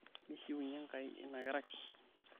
mishiwunye enkai enakerai